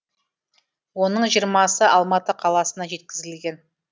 оның жиырмасы алматы қаласына жеткізілген